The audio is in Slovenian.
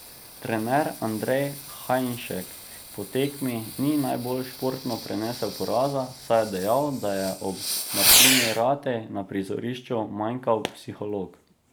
Trener Andrej Hajnšek po tekmi ni najbolj športno prenesel poraza, saj je dejal, da je ob Martini Ratej na prizorišču manjkal psiholog.